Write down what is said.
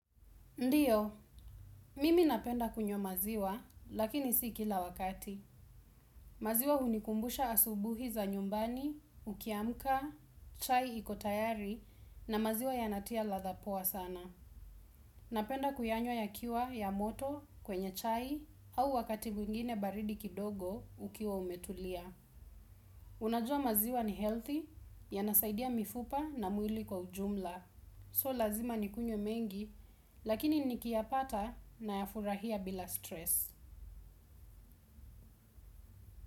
Ndiyo, mimi napenda kunyo maziwa, lakini si kila wakati. Maziwa unikumbusha asubuhi za nyumbani, ukiamka, chai ikotayari na maziwa yanatia latha poa sana. Napenda kuyanywa ya kiwa ya moto kwenye chai au wakati mwingine baridi kidogo ukiwa umetulia. Unajua maziwa ni healthy, ya nasaidia mifupa na muili kwa ujumla. So lazima nikunywe mengi, lakini nikia pata na yafurahia bila stress.